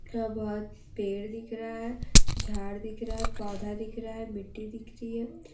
यहां बहोत पेड़ दिख रहा है झाड़ दिख रहा है पौधा दिख रहा है मिट्टी दिख रही है।